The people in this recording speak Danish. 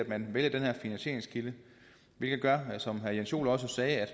man vælger den her finansieringskilde som herre jens joel også sagde er